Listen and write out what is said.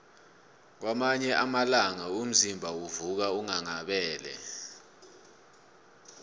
kwamanye amalanga umzimba uvuka unghanghabele